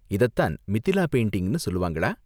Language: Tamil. இததான் மிதிலா பெயிண்டிங்னு சொல்லுவாங்களா?